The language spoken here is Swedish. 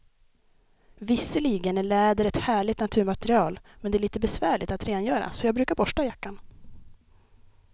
Visserligen är läder ett härligt naturmaterial, men det är lite besvärligt att rengöra, så jag brukar borsta jackan.